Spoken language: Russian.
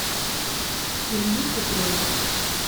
илью петрова